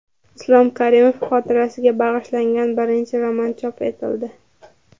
Islom Karimov xotirasiga bag‘ishlangan birinchi roman chop etildi.